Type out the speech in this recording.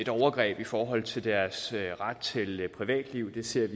overgreb i forhold til deres ret til privatliv vi ser